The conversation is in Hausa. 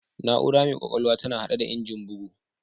Na'ura mai ƙwƙwalwa tana haɗe da Injin bugu